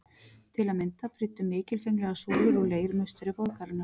Til að mynda prýddu mikilfenglegar súlur úr leir musteri borgarinnar.